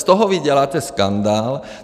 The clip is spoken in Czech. Z toho vy děláte skandál.